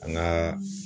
An ŋaa